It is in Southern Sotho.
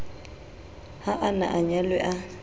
ha a na anyalwe a